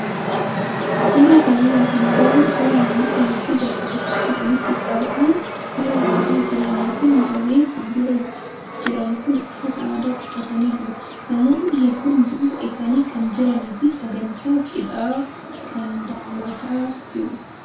Suuraa kanarraa kan agarru suuraa namoota hedduu bakka tokkotti walitti qabamuun suuraa ka'aa jiranii fi warreen fuuldura jiran kun uffata aadaa uffatanii jiru. Namoonni hedduun duuba isaanii kan jiranii fi sagantaa cidhaa kan daawwataa jiru.